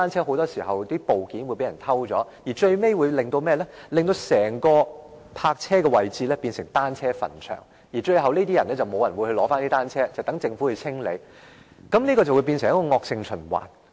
很多時候，停放在那裏的單車的部件會被偷走，令泊車位最終淪為單車墳場，最後沒有人取回單車，只有留待政府清理，繼而演變成一個惡性循環。